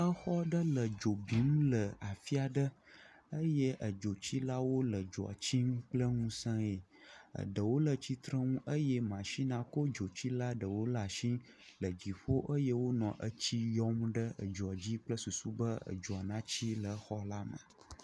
Exɔ aɖe le dzo bim le afi aɖe eye edzotsilawo le dzoatsim kple nusẽe ɖewo le titrenu eye masinia kɔ dzotsila aɖewo ɖe asi le dziƒo eye wonɔ tsi yɔm ɖe dzoa dzi kple susu be dzoa na tsi le xɔa la me